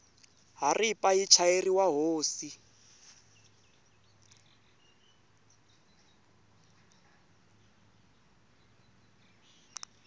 haripa yi chayeriwa hosi